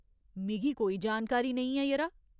मिगी कोई जानकारी नेईं ऐ, यरा।